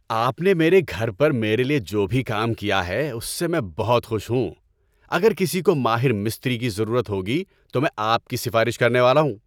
آپ نےمیرے گھر پر میرے لیے جو بھی کام کیا ہے اس سے میں بہت خوش ہوں۔ اگر کسی کو ماہر مستری کی ضرورت ہوگی تو میں آپ کی سفارش کرنے والا ہوں۔